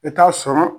I bɛ taa sɔrɔ